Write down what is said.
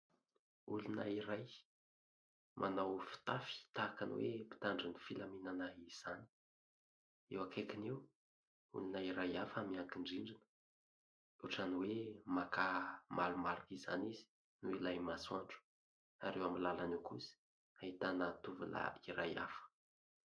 Olona iray manao fitafy tahaka ny hoe mpitandro ny filaminana izany. Eo akaikiny eo, olona iray hafa miankin-drindrina ; ohatran'ny hoe maka malomaloka izany izy noho ilay masoandro. Ary eo amin'ny làlana eo kosa ahitana tovolahy iray hafa.